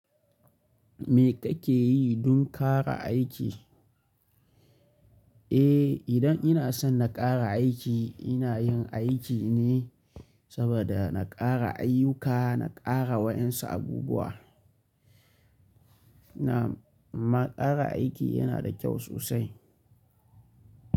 Me kake yi don ƙara aiki? Eh, idan ina son na ƙara aiki ina yin aiki ne saboda na ƙara ayyuka, na ƙara waɗansu abubuwa. Na'am amma ƙara aiki yana da kyau sosai.